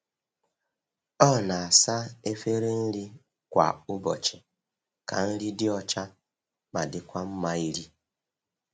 O na-asa efere nri kwa ụbọchị ka nri dị ọcha ma dịkwa mma iri.